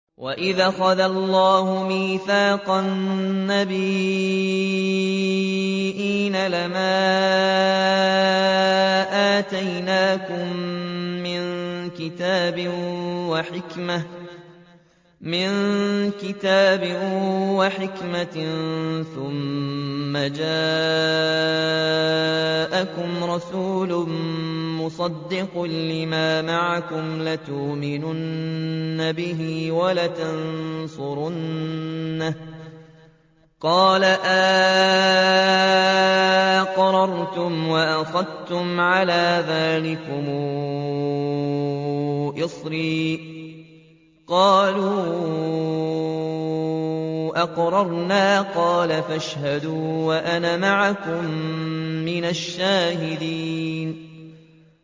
وَإِذْ أَخَذَ اللَّهُ مِيثَاقَ النَّبِيِّينَ لَمَا آتَيْتُكُم مِّن كِتَابٍ وَحِكْمَةٍ ثُمَّ جَاءَكُمْ رَسُولٌ مُّصَدِّقٌ لِّمَا مَعَكُمْ لَتُؤْمِنُنَّ بِهِ وَلَتَنصُرُنَّهُ ۚ قَالَ أَأَقْرَرْتُمْ وَأَخَذْتُمْ عَلَىٰ ذَٰلِكُمْ إِصْرِي ۖ قَالُوا أَقْرَرْنَا ۚ قَالَ فَاشْهَدُوا وَأَنَا مَعَكُم مِّنَ الشَّاهِدِينَ